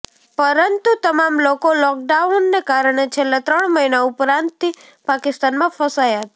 પરંતું તમામ લોકો લોકડાઉનને કારણે છેલ્લા ત્રણ મહિના ઉપરાંતથી પાકિસ્તાનમાં ફસાયા હતા